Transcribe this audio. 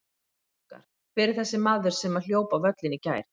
Frétt okkar: Hver er þessi maður sem að hljóp á völlinn í gær?